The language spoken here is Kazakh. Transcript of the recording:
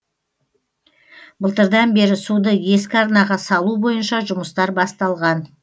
былтырдан бері суды ескі арнаға салу бойынша жұмыстар басталған